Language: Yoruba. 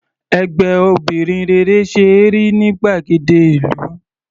Ẹgbẹ́ obìnrin rere ṣe é rí ní gbàgede ìlú.